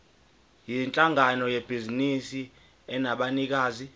yinhlangano yebhizinisi enabanikazi